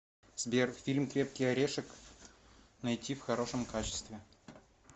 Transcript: сбер фильм крепкий орешек найти в хорошем качестве